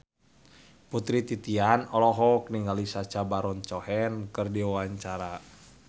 Putri Titian olohok ningali Sacha Baron Cohen keur diwawancara